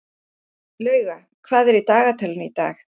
Lauga, hvað er í dagatalinu í dag?